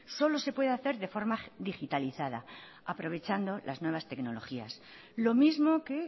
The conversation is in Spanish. solo se puede hacer de forma hacer de forma digitalizada aprovechando las nuevas tecnologías lo mismo que